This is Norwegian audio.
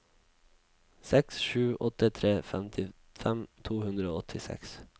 seks sju åtte tre femtifem to hundre og åttiseks